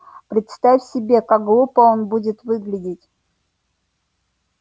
представь себе как глупо он будет выглядеть